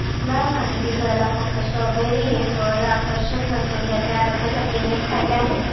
लाल आणि दिसायला फक्त स्ट्रॉबेरी हे फळ आकर्षक नसून त्याचे आरोग्यासाठी अनेक फायदे आहेत